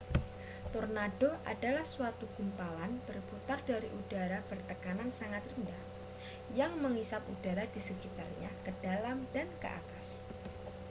tornado adalah suatu gumpalan berputar dari udara bertekanan sangat rendah yang mengisap udara di sekitarnya ke dalam dan ke atas